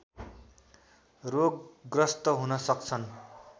रोगग्रस्त हुन सक्छन्